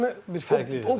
İdarə etmə bir fərqlidir.